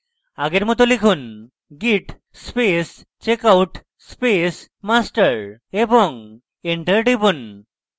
আগের মত লিখুন: git space checkout space master এবং enter টিপুন